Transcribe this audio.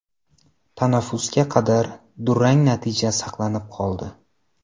Tanaffusga qadar durang natija saqlanib qoldi.